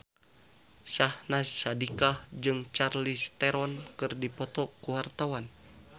Syahnaz Sadiqah jeung Charlize Theron keur dipoto ku wartawan